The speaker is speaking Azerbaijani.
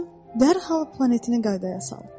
dərhal planetini qaydaya saldın.